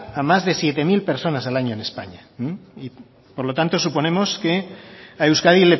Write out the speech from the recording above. a más de siete mil personas al año en españa por lo tanto suponemos que a euskadi